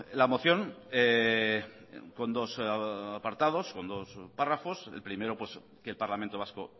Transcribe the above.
la moción con dos apartados con dos párrafos el primero que el parlamento vasco